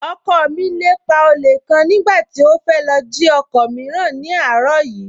Ọkọ mi lépa olè kan nígbà tí ó fẹ́ lọ jí ọkọ̀ mìíràn ní àárọ̀ yìí